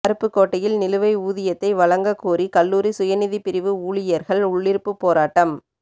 அருப்புக்கோட்டையில் நிலுவை ஊதியத்தை வழங்கக் கோரி கல்லூரி சுயநிதிப் பிரிவு ஊழியா்கள் உள்ளிருப்புப் போராட்டம்